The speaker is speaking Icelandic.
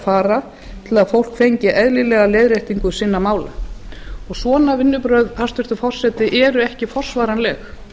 fara til að fólk fengi eðlilega leiðréttingu sinna mála svona vinnubrögð hæstvirtur forseti eru ekki forsvaranleg